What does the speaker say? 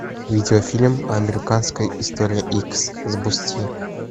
видеофильм американская история икс запусти